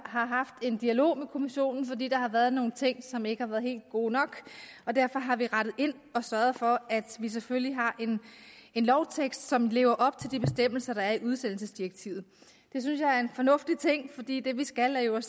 har haft en dialog med kommissionen fordi der har været nogle ting som ikke har været helt gode nok og derfor har vi rettet ind og sørget for at vi selvfølgelig har en lovtekst som lever op til de bestemmelser der er i udsendelsesdirektivet det synes jeg er en fornuftig ting fordi det vi skal jo er